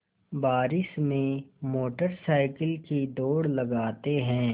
बारिश में motorcycle की दौड़ लगाते हैं